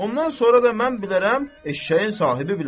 Ondan sonra da mən bilərəm, eşşəyin sahibi bilər.